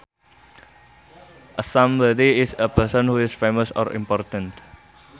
A somebody is a person who is famous or important